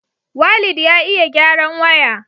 waleed ya iya gyaran waya